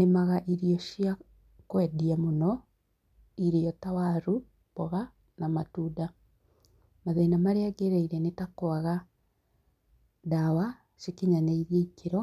Nīmaga irio cia kūendia mūno, irio ta waru, mboga na matunda. Mathīna marīa gereire nī ta kwaga ndawa ikinyanīirie ikīro